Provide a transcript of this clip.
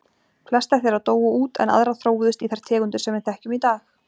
Flestar þeirra dóu út en aðrar þróuðust í þær tegundir sem við þekkjum í dag.